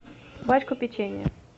пачку печенья